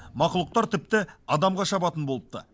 мақұлықтар тіпті адамға шабатын болыпты